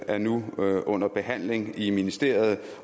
er nu under behandling i ministeriet